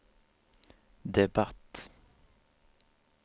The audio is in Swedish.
debatt